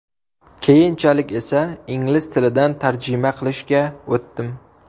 Keyinchalik esa, ingliz tilidan tarjima qilishga o‘tdim.